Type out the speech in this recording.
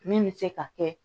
Min bɛ se ka kɛ